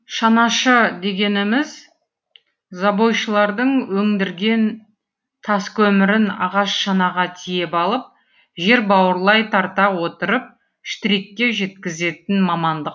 шанашы дегеніміз забойшылардың өңдірген таскөмірін ағаш шанаға тиеп алып жер бауырлай тарта отырып штрикке жеткізетін мамандық